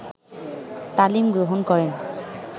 তালিম গ্রহণ করেন